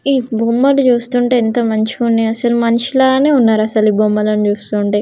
ఈ బొమ్మలు చూస్తుంటే ఎంత మంచిగున్నాయ్ అసలు మనిషి లాగానే ఉన్నారు. అసలు ఈ బొమ్మలని చూస్తుంటే.